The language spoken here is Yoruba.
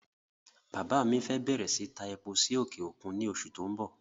Bàbá mi fẹ́ bẹ̀rẹ̀ síí ta epo sí òkè òkun ní oṣù tó n bọ̀